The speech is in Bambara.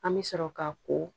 An bɛ sɔrɔ ka ko